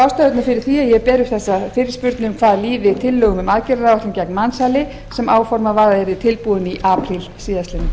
ástæðurnar fyrir því að ég ber upp þessa fyrirspurn um hvað líði tillögum um aðgerðaráætlun gegn mansali sem áformað var að yrði tilbúin í apríl síðastliðnum